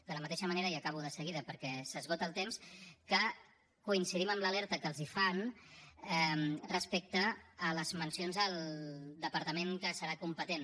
de la mateixa manera i acabo de seguida perquè s’esgota el temps que coincidim amb l’alerta que els fan respecte a les mencions al departament que serà competent